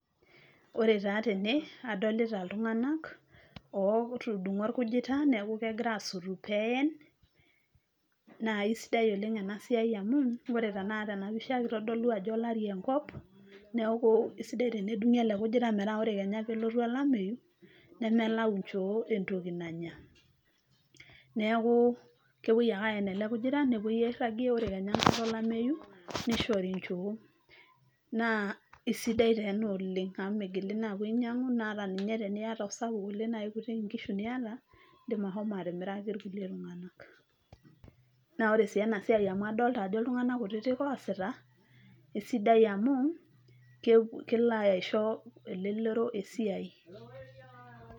Ore taa tene adolita iltunganak otudungo orkujita niaku kegira asotu peen naa kisidai oleng ena siai amu ore tenakata tena pisha kitodolu ajo olari enkop . Niaku kisidai tenedungi ele kujita metaa ore kenya tenelotu olameyu ,nemelayu inchoo entoki nanya .Neku kepuoi ake aen ele kujita nepuoi airagie , ore kenya enkata olameyu nishori inchoo . Naa isidai taa ena oleng amu migili taa apuo ainyiangu ata ninye teniata osapuk oleng naa kikutik inkishu niata , indim ashomo atimiraki irkulie tunganak. Naa ore sii ena siai amu adolta ajo iltunganak kutitik oosita, isidai amu kelo aisho elelero esiai.